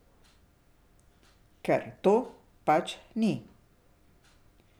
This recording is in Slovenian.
Ker to pač ni.